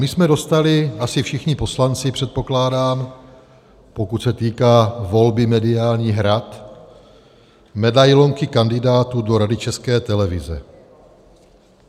My jsme dostali, asi všichni poslanci, předpokládám, pokud se týká volby mediálních rad, medailonky kandidátů do Rady České televize.